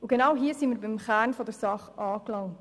Genau hier sind wir beim Kern der Sache angelangt.